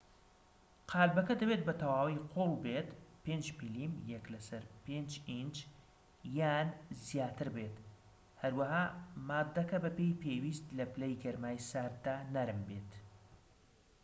قاڵبەکە دەبێت بە تەواوی قووڵ بێت، 5 ملم 1 / 5 ئینچ یان زیاتر بێت، هەروەها ماددەکە بە پێی پێویست لە پلەی گەرمای سارددا نەرم بێت